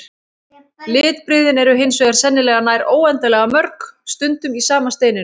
Litbrigðin eru hins vegar sennilega nær óendanlega mörg, stundum í sama steininum.